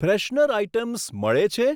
Freshener items મળે છે?